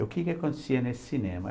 E o que que acontecia nesse cinema?